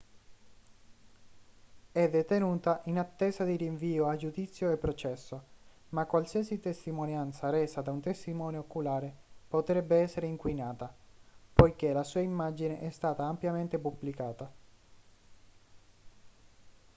è detenuta in attesa di rinvio a giudizio e processo ma qualsiasi testimonianza resa da un testimone oculare potrebbe essere inquinata poiché la sua immagine è stata ampiamente pubblicata